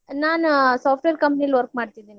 ನಾನು software company ಲಿ work ಮಾಡ್ತಿದೀನಿ.